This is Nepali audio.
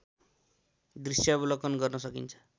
दृश्यावलोकन गर्न सकिन्छ